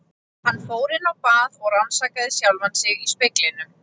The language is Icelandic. Hann fór inn á bað og rannsakaði sjálfan sig í speglinum.